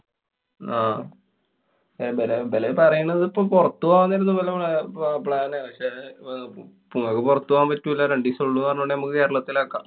ആഹ് ബലേ ബല് പറയണത് പ്പൊ പൊറത്ത് പോവാം ന്നായിരുന്നു ഇവരെ പാ~ plan. പക്ഷെ പ്പൊ ങ്ങക്കു പൊറത്തു പോവാന്‍ പറ്റൂല. രണ്ടീസേ ഒള്ളൂ പറഞ്ഞോണ്ട് നമുക്ക് കേരളത്തിലാക്കാം.